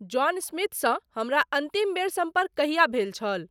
John स्मिथसँ हमरा अंतिम बेर सम्पर्क कहिया भेल छल